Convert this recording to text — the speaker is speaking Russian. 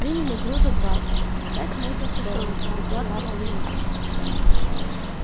приняли груза двадцать пять можно в сторону докладывал синицын